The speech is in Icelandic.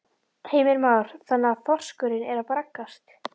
Heimir Már: Þannig að þorskurinn er að braggast?